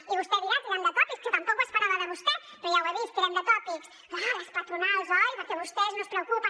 i vostè dirà tirant de tòpics que tampoc ho esperava de vostè però ja ho he vist tirem de tòpics clar les patronals oi perquè vostès no es preocupen